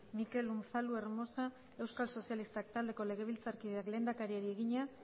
mikel unzalu hermosa euskal sozialistak taldeko legebiltzarkideak lehendakariari egina